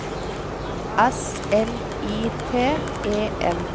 S L I T E N